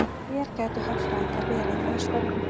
Hér gætu hagfræðingar verið að störfum.